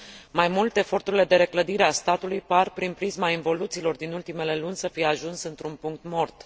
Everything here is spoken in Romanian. Mai mult, eforturile de reclădire a statului par, prin prisma involuțiilor din ultimele luni, să fi ajuns într un punct mort.